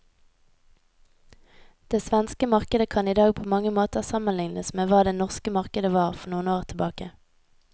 Det svenske markedet kan i dag på mange måter sammenlignes med hva det norske markedet var for noen år tilbake.